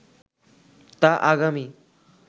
তা আগামী